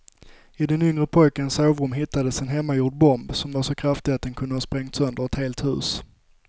I den yngre pojkens sovrum hittades en hemmagjord bomb som var så kraftig att den kunde ha sprängt sönder ett helt hus.